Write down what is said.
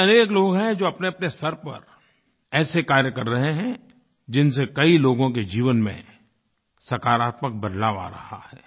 ऐसे अनेक लोग हैं जो अपनेअपने स्तर पर ऐसे कार्य कर रहे हैं जिनसे कई लोगों के जीवन में सकारात्मक बदलाव आ रहा है